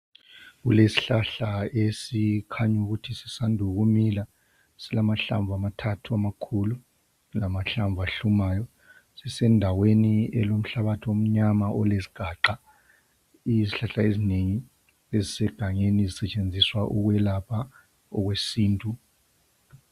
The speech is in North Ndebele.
Kulesihlahla esikhanya ukuthi sisanda ukumila silamahlamvu amathathu amakhulu lamahlamvu ahlumayo sisendaweni elomhlabathi omnyama olezigaqa kulezihlahla ezinengi ezisegangeni ezisetshenziswa ukwelapha okwesintu.